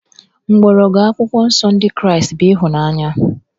Mgbọrọgwụ Akwụkwọ Nsọ Ndị Kraịst bụ ịhụnanya